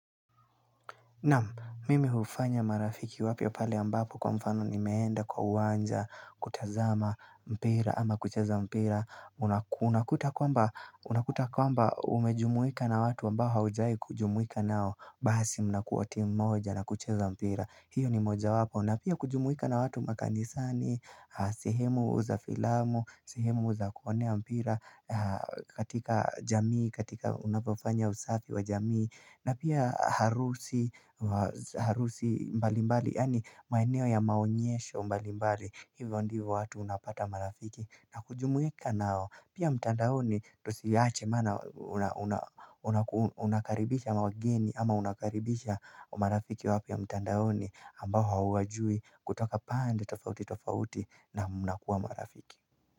Naam mimi hufanya marafiki wapya pale ambapo kwa mfano nimeenda kwa uwanja, kutazama, mpira ama kucheza mpira Unakuta kwamba, unakuta kwamba umejumuika na watu ambao haujawahi kujumuika nao Basi mnakuwa timu moja na kucheza mpira hiyo ni mojawapo na pia kujumuika na watu makanisani, sehemu za filamu, sehemu za kuonea mpira katika jamii, katika unapofanya usafi wa jamii na pia harusi mbalimbali yaani maeneo ya maonyesho mbalimbali hivyo ndivyo watu unapata marafiki na kujumuika nao pia mtandaoni tusiache maana unakaribisha wageni ama unakaribisha marafiki wapya mtandaoni ambao hauwajui kutoka pande tofauti tofauti na mnakuwa marafiki.